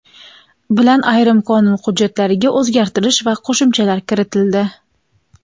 bilan ayrim qonun hujjatlariga o‘zgartish va qo‘shimchalar kiritildi.